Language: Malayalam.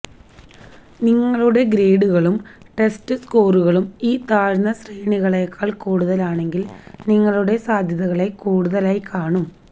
നിങ്ങളുടെ ഗ്രേഡുകളും ടെസ്റ്റ് സ്കോറുകളും ഈ താഴ്ന്ന ശ്രേണികളേക്കാൾ കൂടുതലാണെങ്കിൽ നിങ്ങളുടെ സാധ്യതകളെ കൂടുതലായി കാണും